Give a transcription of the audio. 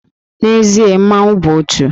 N'ezie, mmanwụ bụ òtù